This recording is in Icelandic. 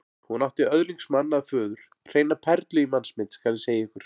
Hún átti öðlingsmann að föður, hreina perlu í mannsmynd, skal ég segja ykkur.